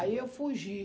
Aí eu fugi.